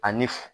Ani fu